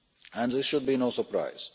And this should be surprise.